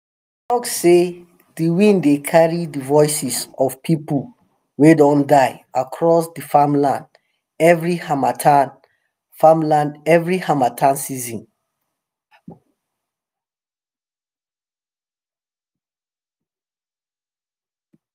dem talk sey de wind dey carry de voices of people wey don die across dey farmland every harmattan farmland every harmattan season